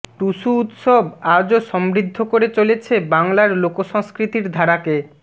টুসু উৎসব আজও সম্বৃদ্ধ করে চলেছে বাংলার লোকসংস্কৃতির ধারাকে